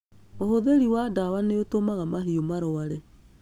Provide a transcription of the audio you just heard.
Ũhũthĩri wa dawa nĩ ũtũmaga mahiũ marware